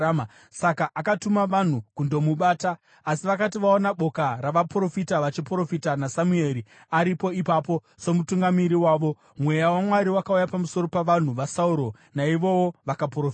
Saka akatuma vanhu kundomubata. Asi vakati vaona boka ravaprofita vachiprofita, naSamueri amire ipapo somutungamiri wavo, Mweya waMwari wakauya pamusoro pavanhu vaSauro, naivowo vakaprofita.